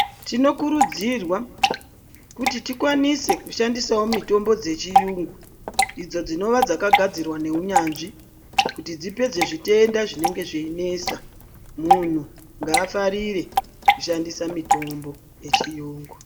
Tinokurudzirwa kuti tikwanise kushandisawo mitombo dzechiyungu idzo dzakagadzirwa neunyanzvi kuti dzipedze zvitenda zvinenge zveinesa muntu ngaafarire kushandisa mitombo yechiyungu.